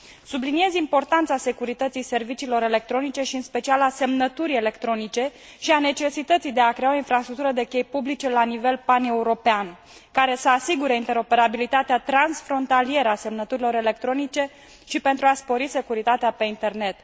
Subliniez importanța serviciilor electronice și în special a semnăturii electronice și a necesității de a crea o infrastructură de chei publice la nivel paneuropean, care să asigure interoperabilitatea transfrontalieră a semnăturilor electronice și pentru a spori securitatea pe internet.